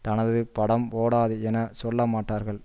தனது படம் ஓடாது என சொல்லமாட்டார்கள்